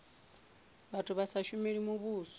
vhathu vha sa shumeli muvhuso